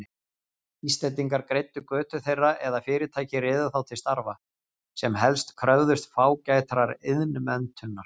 Íslendingar greiddu götu þeirra eða fyrirtæki réðu þá til starfa, sem helst kröfðust fágætrar iðnmenntunar.